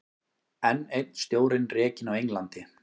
Enn einn stjórinn rekinn á Englandi